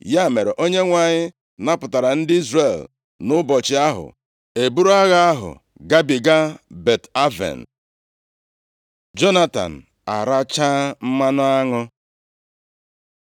Ya mere, Onyenwe anyị napụtara ndị Izrel nʼụbọchị ahụ. E buru agha ahụ gabiga Bet-Aven. Jonatan arachaa mmanụ aṅụ